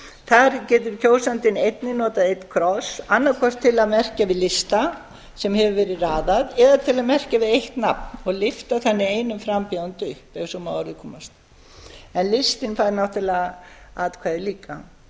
þar getur kjósandinn einnig notað einn kross annað hvort til að merkja við lista sem hefur verið raðað eða til að merkja við eitt nafn og lyfta þannig einum frambjóðanda upp ef svo má að orði komast en listinn fær náttúrlega atkvæði líka